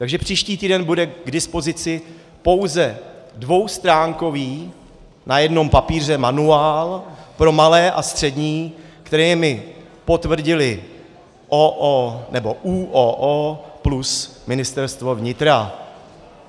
Takže příští týden bude k dispozici pouze dvoustránkový na jednom papíře manuál pro malé a střední, které mi potvrdily OO... nebo ÚOO plus Ministerstvo vnitra.